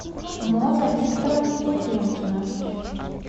муза викторовна ефремкина